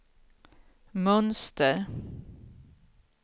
mönster